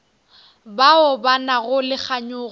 bao ba nago le kganyogo